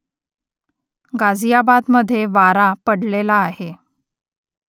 गाझियाबादमधे वारा पडलेला आहे